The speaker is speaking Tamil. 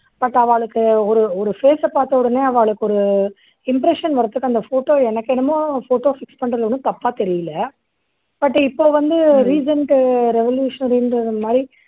but ஆவாளுக்கு ஒரு ஒரு face சை பார்த்த உடனே அவாளுக்கு ஒரு impression வறதுக்கு அந்த photo எனக்கு என்னமோ photo fix பண்றது ஒண்ணும் தப்பா தெரியலை. but இப்போ வந்து recent revolutionary ன்றது மாதிரி